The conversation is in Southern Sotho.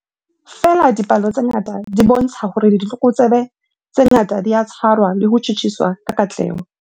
Feela dipalo tsena di bontsha hore ditlokotsebe tse ngata di a tshwarwa le ho tjhutjhiswa ka katleho.